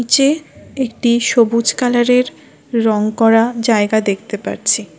চে একটি সবুজ কালারের রং করা জায়গা দেখতে পারছি।